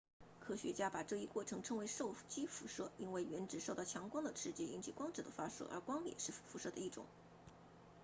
科学家把这一过程称为受激辐射因为原子受到强光的刺激引起光子的发射而光也是辐射的一种